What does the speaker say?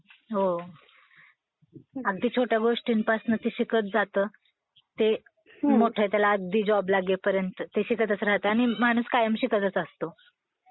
हो. अगदी छोट्या गोष्टींपासनं ते शिकत जातं. ते मोठा त्याला अगदी जॉब लागेपर्यंत ते शिकतात राहतं आणि माणूस कायम शिकतच असतो.